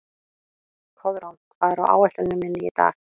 Koðrán, hvað er á áætluninni minni í dag?